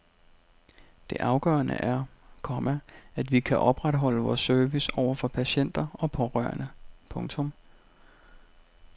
Det afgørende er, komma at vi kan opretholde vores service over for patienter og pårørende. punktum